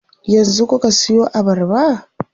Yanzu kuka siyo abarba?